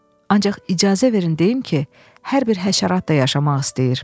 Ancaq icazə verin deyim ki, hər bir həşərat da yaşamaq istəyir.